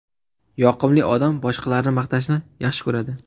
Yoqimli odam boshqalarni maqtashni yaxshi ko‘radi.